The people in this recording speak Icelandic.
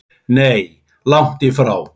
Nei, langt í frá.